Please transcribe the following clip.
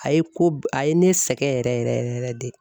A ye ko a ye ne sɛgɛn yɛrɛ yɛrɛ yɛrɛ de.